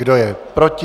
Kdo je proti?